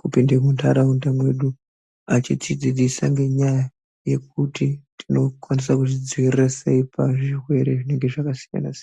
kupinde munharaunda mwedu achitidzidzisa ngenyaya yekuti tinokwanise kuzvidzivirira sei pazvirwere zvinenge zvakasiyanasiyana.